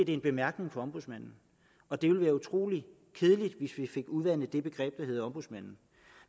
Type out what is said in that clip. en bemærkning fra ombudsmanden og det ville være utrolig kedeligt hvis vi fik udvandet det begreb der hedder ombudsmand